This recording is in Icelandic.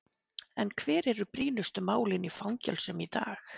En hver eru brýnustu málin í fangelsum í dag?